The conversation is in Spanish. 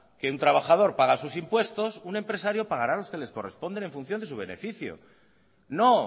que un trabajador paga sus impuestos un empresario pagará los que le corresponde en función de su beneficio no